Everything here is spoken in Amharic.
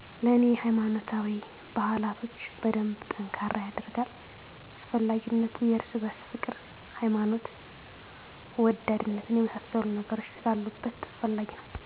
ለኔ ሃይማኖታዊ ባህላቶች በደንብ ጠንካራ የደርጋል። አስፈላጊነቱ የርስ በርስ ፍቅር፣ ሀይማኖት ወዳድነትን የመሳሰሉ ነገሮች ስላሉበት አስፈላጊ ነው